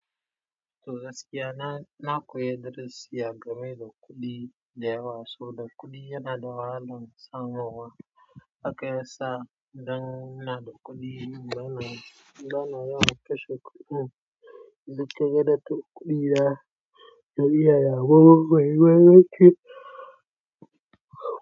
Toh gaskiya na, na koyi darasi a game da kuɗi da yawa. So da kuɗi yana da wahalan samowa. Haka ya sa idan ina da kuɗi bana, bana yawan kashe kuɗin. In kaga dattin kuɗin ya.